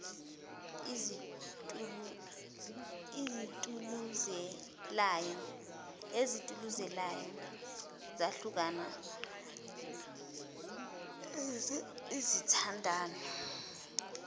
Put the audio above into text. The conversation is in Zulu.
ezituluzelayo zahlukana izithandani